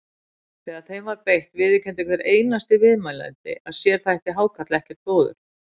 Þegar þeim var beitt viðurkenndi hver einasti viðmælandi að sér þætti hákarl ekkert góður.